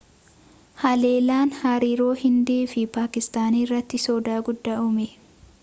halellaan hariiroo hindii fi paakistaan irratti soda guddaa uume